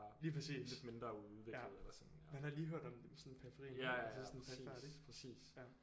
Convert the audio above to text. Lige præcis ja man har lige hørt om dem i sådan periferien altså sådan perifert ik